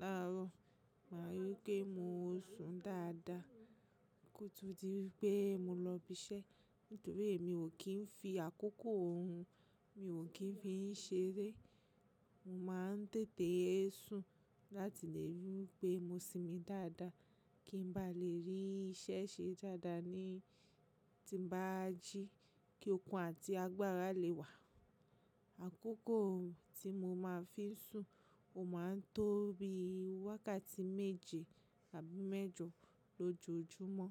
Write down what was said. láró, màá rí pé mo sùn dáadáa kó tó di wipe mo lọ ibiṣẹ́. Nitorina mi ò kí ń fi àkókò òrun, mi ò kí ń fí í ṣeré. Mo máa ń tètè sùn láti lè rí pé mo simi dáadáa, kí n bá lè rí iṣẹ́ ṣe dáadáa ní ti bá jí, kí okun àti agbára lè wà. Àkókò tí mo máa fí sùn, ò máa ń tóbi wákàtí méje láti mẹ́jọ lọjóòjúmọ́.